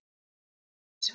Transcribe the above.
Inga Dís.